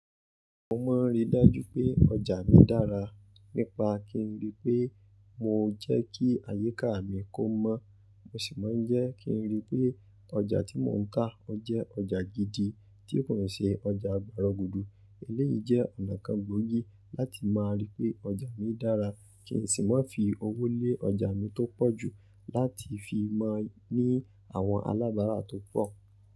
Mo máa ń rí dájú pé ọjà mi dára nípa kí n rí i pé mo jẹ́ kí àyíká mi kó mọ́. Mo sì máa ń jẹ́ kí n rí i pé ọjà tí mò ń ká ọ jẹ́ ọjà gidi tí kò ṣe ọjà gbọrọ gudú. Eléyìí jẹ́ ọ̀nà kan gbógí láti máa rí pé ọjà mi dára. Kí n sì máa fi owó lé ọjà mi tó pọ̀ jù láti fi maa ní àwọn alábárá tó pọ̀.